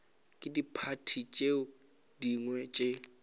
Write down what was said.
ke diphathi tše dingwe tše